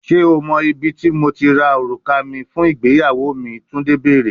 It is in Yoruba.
Ṣe o mọ ibiti Mo ti ra oruka mi fun igbeyawo mi, Tunde beere